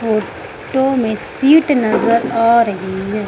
Photo में seat नजर आ रही है।